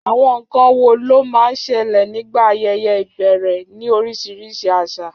Àwọn nkan wo ló máa ń ṣẹlẹ̀ nígbà ayẹyẹ ìbẹ̀rẹ̀ ní oríṣiríṣi àṣà?